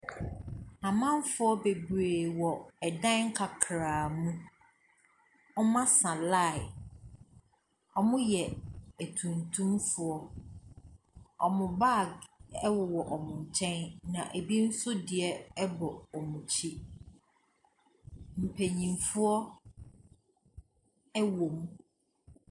Amanfoɔ bebree wɔ dan kakraa mu. Wɔasa line. Wɔyɛ atuntumfoɔ. Wɔn bag wowɔ wɔn nkyɛn, na ebi nso bɔ wɔn akyi. Mpanimfoɔ wɔ mu.